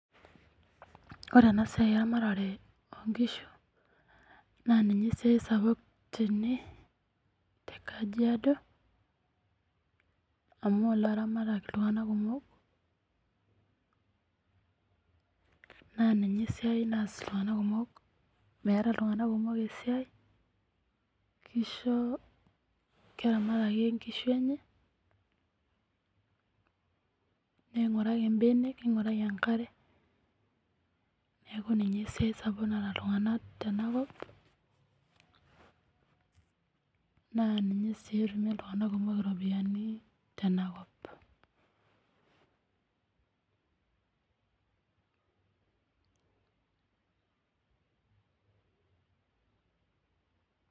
Ore enasiai eramatare onkishu na ninye esiai sapuk tene tekajiado amu ilaramatak iltunganak kumok naa ninye esiai naas iltunganak kumok , meeta iltunganak kumok esiai ,keramat ake nkishu enye ,ninguraki mbenek , ninguraki enkare , niaku ninye esiai sapuk naata iltunganak naa ninye si etumie iltunganak iropiyiani tenakop .